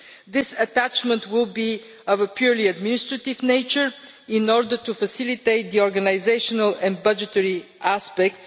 This attachment will be of a purely administrative nature in order to facilitate the organisational and budgetary aspects.